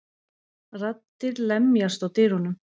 Raddir lemjast á dyrunum.